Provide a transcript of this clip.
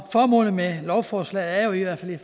formålet med lovforslaget er jo i hvert fald i